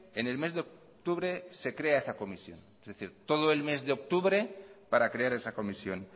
en el mes de octubre se crea esa comisión es decir todo el mes de octubre para crear esa comisión